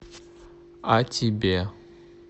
а тебе